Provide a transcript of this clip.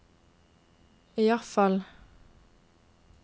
iallfall